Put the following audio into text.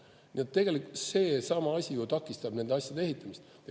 Nii et tegelikult seesama asi takistab nende asjade ehitamist.